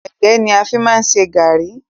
Ẹ̀gẹ́ ni a fi má ń ṣe gàrrí.